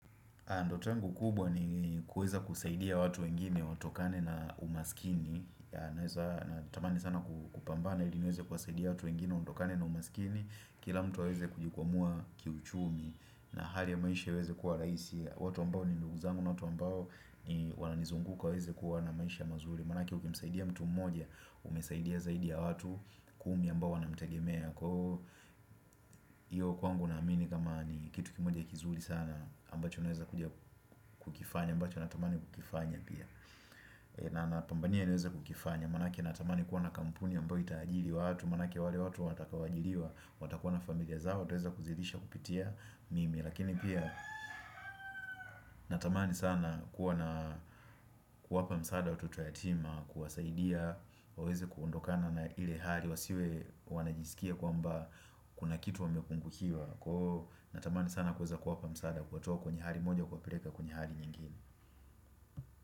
Na ndoto yangu kubwa nikuweza kusaidia watu wengine watokane na umaskini Natamani sana kupambana ili niweze kuwasaidia watu wengine watokane na umaskini Kila mtu aweze kujikomboa kiuchumi na hali ya maisha yaweze kuwa rahisi watu ambao ni ndugu zangu na watu ambao wananizunguka waweze kuwa na maisha mazuri Manake ukimsaidia mtu mmoja umesaidia zaidi ya watu kumi ambao wanamtegemea Kwa hiyo kwangu naamini kama ni kitu kimoja kizuri sana ambacho naweza kuja kukifanya ambacho natamani kukifanya pia napambania niweza kukifanya manake natamani kuwa na kampuni ambayo itajiri watu, manake wale watu watakaoajiriwa watakuwa na familia zao wataweza kuzidisha kupitia mimi lakini pia natamani sana kuwa na kuwapa msaada watoto yatima, kuwasaidia waweze kutokana na ile hali wasiwe wanajisikia kwamba kuna kitu wamepungukiwa na tamani sana kuweza kuwapa msaada kuwatoa kwenye hali moja kuwapeleka kwenye hali nyingine.